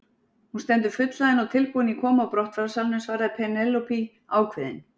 Hún stendur fullhlaðin og tilbúin í komu og brottfararsalnum, svarði Penélope ákveðin.